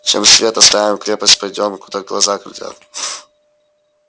чем свет оставим крепость пойдём куда глаза глядят